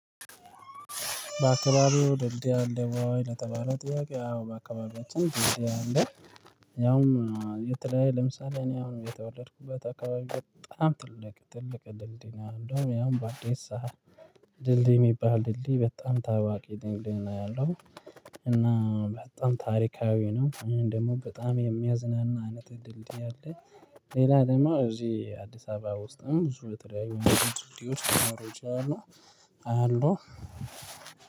በአካባቢው ደልድይ አለ ወይ? ለተባለው ጥያቄ አዎ በአካባቢያችን ድልድይ አለ። ያውም የተለያየ ለምሳሌ እኔ አሁን የተወለድኩበት አካባቢ በጣም ትልቅ ትልቅ ድልድይ ነው እንደውም ያውም በአዲስ ሰሃል። ድልድይ የሚባል ድልድይ በጣም ታዋቂ ድልድይ ነው ያለው። እና በጣም ታሪካዊ ነው እኔ ደግሞ በጣም የሚያዝናና ነጥብ ድልድይ አለ። ሌላ ደግሞ እዚህ አዲስ አበባ ውስጥም ብዙ የተለያዩ ድልድዮች ሊኖሩ ይችላሉ አሉ።